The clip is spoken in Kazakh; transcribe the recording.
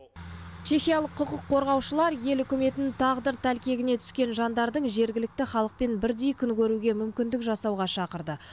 чехиялық құқық қорғаушылар ел үкіметін тағдыр тәлкегіне түскен жандардың жергілікті халықпен бірдей күн көруге мүмкіндік жасауға шақырды